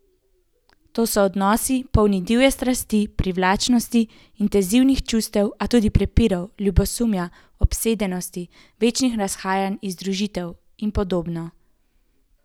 To so odnosi, polni divje strasti, privlačnosti, intenzivnih čustev, a tudi prepirov, ljubosumja, obsedenosti, večnih razhajanj in združitev in podobno.